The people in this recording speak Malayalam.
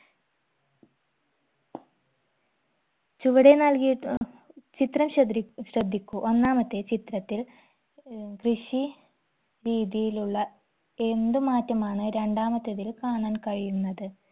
ചുവടെ നൽകിയിട്ടു ഏർ ചിത്രം ശ്രധ്രി ശ്രദ്ധിക്കൂ ഒന്നാമത്തെ ചിത്രത്തിൽ ഏർ കൃഷി രീതിയിലുള്ള എന്ത് മാറ്റമാണ് രണ്ടാമത്തേതിൽ കാണാൻ കഴിയുന്നത്